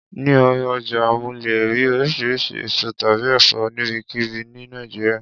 Ní ọjà mo lè rí oríṣiríṣi èso tàbí ẹ̀fọ́ níbikíbi ni Nàìjíríà.